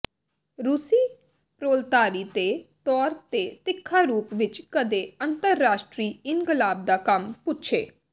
ਰੂਸੀ ਪ੍ਰੋਲਤਾਰੀ ਦੇ ਤੌਰ ਤੇ ਤਿੱਖਾ ਰੂਪ ਵਿੱਚ ਕਦੇ ਵੀ ਅੰਤਰਰਾਸ਼ਟਰੀ ਇਨਕਲਾਬ ਦਾ ਕੰਮ ਪੁੱਛੇ